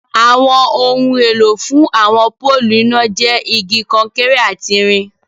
Awọn ọhun èlọ̀ fún awọn pọ̀lụ́ iná jẹ́ igi, kọ̀nkéré àti ìrìn